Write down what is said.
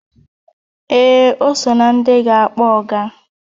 Ee, o so na ndị ga-akpọ ọga